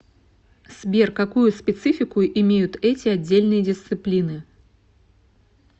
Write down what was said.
сбер какую специфику имеют эти отдельные дисциплины